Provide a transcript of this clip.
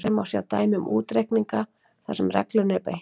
Hér má svo sjá dæmi um útreikninga þar sem reglunni er beitt: